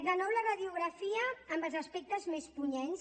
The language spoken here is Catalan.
de nou la radiografia amb els aspectes més punyents